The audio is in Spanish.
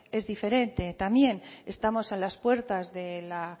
es diferente también estamos a las puertas de la